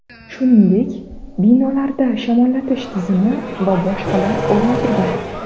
Shuningdek binolarda shamollatish tizimi va boshqalar o‘rnatilgan.